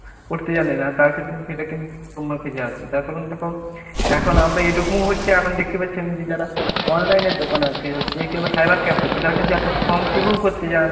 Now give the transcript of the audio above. করতে জানে না। তার ক্ষেত্রে সেইটা কিন্তু তোমার কাছে আসবে। তার কারণ দেখো এখন আবার এরকম ও হচ্ছে এখন দেখতে পাচ্ছি আমি যে যারা online এর দোকানে আরকি হচ্ছে কিংবা cyber cafe হচ্ছে তারা কিন্তু একটা ফর্ম পূরণ করতে যায়